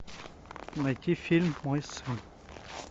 найти фильм мой сын